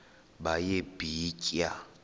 baye bee tyaa